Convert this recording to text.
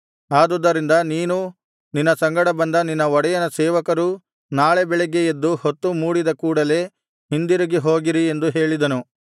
ಆದುದ್ದರಿಂದ ನೀನೂ ನಿನ್ನ ಸಂಗಡ ಬಂದ ನಿನ್ನ ಒಡೆಯನ ಸೇವಕರೂ ನಾಳೆ ಬೆಳಿಗ್ಗೆ ಎದ್ದು ಹೊತ್ತು ಮೂಡಿದ ಕೂಡಲೆ ಹಿಂದಿರುಗಿ ಹೋಗಿರಿ ಎಂದು ಹೇಳಿದನು